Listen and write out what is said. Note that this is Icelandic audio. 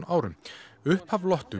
árum upphaf